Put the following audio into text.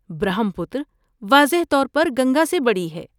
برہم پتر واضح طور پر گنگا سے بڑی ہے۔